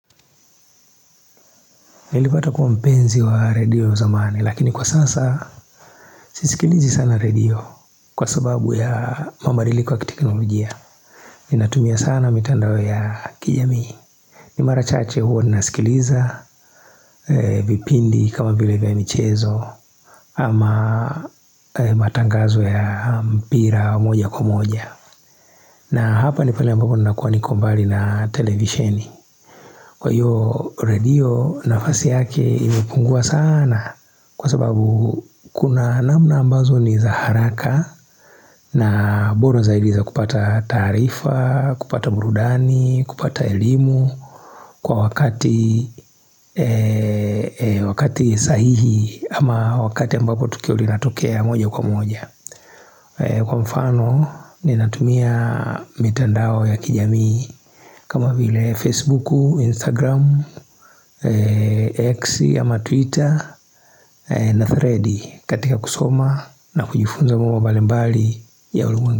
Nilipata kuwa mpenzi wa radio zamani lakini kwa sasa sisikilizi sana radio kwasababu ya mabadiliko ya kiteknolojia. Ninatumia sana mitandao ya kijamii. N imara chache hua nasikiliza vipindi kama vile vya michezo ama matangazo ya mpira wa moja kwa moja. Na hapa ni pahali ambapo nakua niko mbali na televisheni. Kwa hiyo radio nafasi yake imepungua sana kwa sababu kuna namna ambazo ni zaharaka na bora zaidi za kupata taarifa, kupata burudani, kupata elimu kwa wakati sahihi ama wakati ambapo tukio linatokea moja kwa moja. Kwa mfano ninatumia mitandao ya kijamii kama vile Facebook, Instagram, X ama Twitter na thread katika kusoma na kujufunza mambo mbali mbali ya ulimwengu.